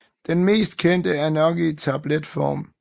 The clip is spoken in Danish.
Den mest kendte er nok i tabletform